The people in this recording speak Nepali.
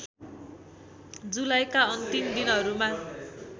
जुलाईका अन्तिम दिनहरूमा